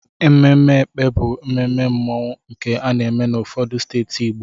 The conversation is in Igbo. Ememe Ékpè bụ mmemme mmanwụ nke ana-eme n'ụfọdụ steeti Igbo.